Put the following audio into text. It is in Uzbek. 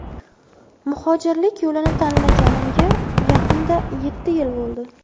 Muhojirlik yo‘lini tanlaganimga yaqinda yetti yil bo‘ldi.